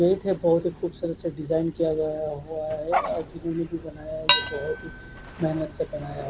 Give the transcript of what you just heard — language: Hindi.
पेट है बोहोत ही खुबसूरत से डिजाईन किया गया है म्हणत से बनाया है।